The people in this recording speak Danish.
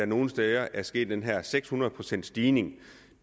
nogle steder er sket den her seks hundrede procents stigning